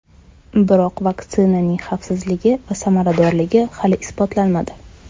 Biroq vaksinaning xavfsizligi va samaradorligi hali isbotlanmadi.